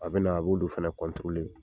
A bɛna, a b'olu fɛnɛ .